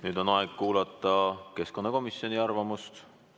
Nüüd on aeg kuulata keskkonnakomisjoni arvamust.